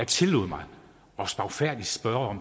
tillod mig at spørge